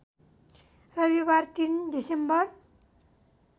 रविवार ३ डिसेम्बर